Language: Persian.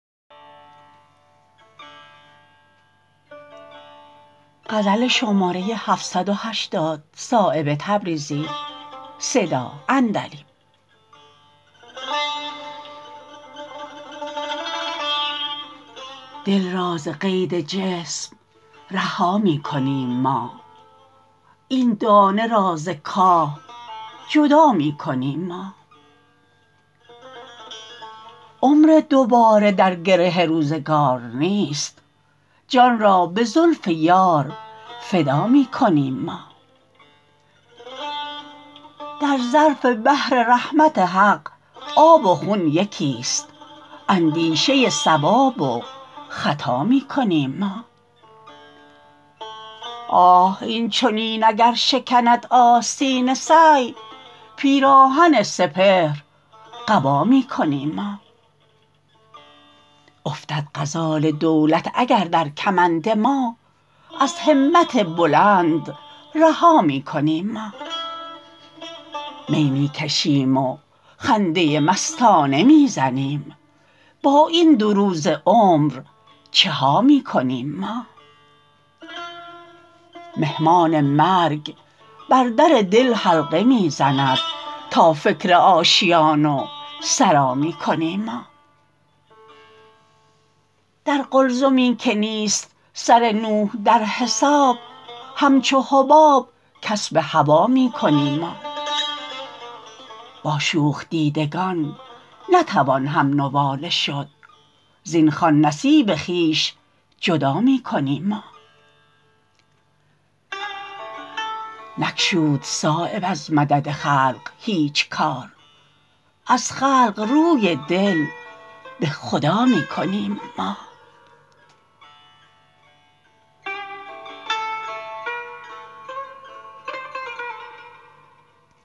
دل را ز قید جسم رها می کنیم ما این دانه را ز کاه جدا می کنیم ما عمر دوباره در گره روزگار نیست جان را به زلف یار فدا می کنیم ما در ظرف بحر رحمت حق آب و خون یکی است اندیشه صواب و خطا می کنیم ما آه این چنین اگر شکند آستین سعی پیراهن سپهر قبا می کنیم ما افتد غزال دولت اگر در کمند ما از همت بلند رها می کنیم ما می می کشیم و خنده مستانه می زنیم با این دو روزه عمر چها می کنیم ما مهمان مرگ بر در دل حلقه می زند تا فکر آشیان و سرا می کنیم ما در قلزمی که نیست سر نوح در حساب همچون حباب کسب هوا می کنیم ما با شوخ دیدگان نتوان هم نواله شد زین خوان نصیب خویش جدا می کنیم ما نگشود صایب از مدد خلق هیچ کار از خلق روی دل به خدا می کنیم ما